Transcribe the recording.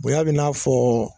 Bonya bɛ n'a fɔ